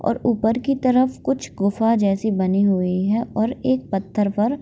और ऊपर की तरफ कुछ गुफा जैसी बानी हुई है और एक पत्थर पर --